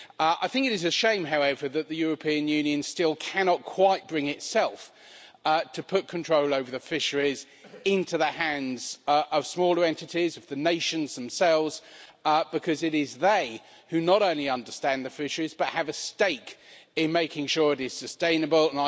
I think it is a shame, however, that the European Union still cannot quite bring itself to put control over the fisheries into the hands of smaller entities, of the nations themselves, because it is they who not only understand the fisheries but have a stake in making sure it is sustainable.